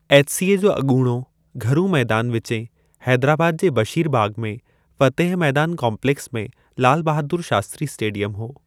HCA जो अॻूणो घरू मैदानु विचें हैदराबाद जे बशीरबाग़ में फतेह मैदान कोम्प्लेक्स में लाल बहादुर शास्त्री स्टेडियम हो।